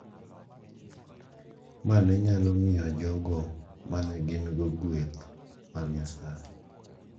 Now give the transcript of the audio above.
ma ne nyalo miyo jogo ma ne gin-go gweth mag Nyasaye.